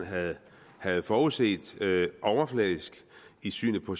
havde havde forudset overfladisk i synet på